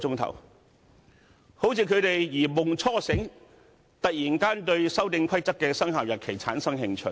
他們好像如夢初醒，突然對《修訂規則》的生效日期產生興趣。